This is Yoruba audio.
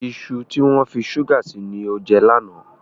Iṣu tí wọ́n fi ṣúgà sí ni o jẹ lánàá.